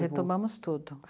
Retomamos tudo.